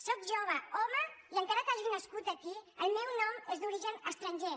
sóc jove home i encara que hagi nascut aquí el meu nom és d’origen estranger